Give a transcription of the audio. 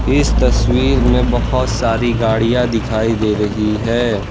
इस तस्वीर में बहोत सारी गाड़ियां दिखाई दे रही है।